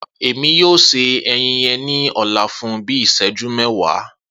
Emi yoo se ẹyin yẹn ni ọla fun bii iṣẹju mẹwa.